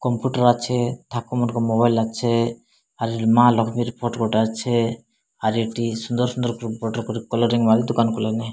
Computer ଅଛି ଥାକ ମାନଂକରେ ମୋବାଇଲ ଲାଗିଛେ ମା ଲଷ୍ମୀର ଫଟ ଗୋଟେ ଅଛେ ଆର ଏଠି ସୁନ୍ଦର ସୁନ୍ଦର ପ୍ରୁପ କଲରିଙ୍ଗ ମାଲ ଦୋକାନ କଲେଣି।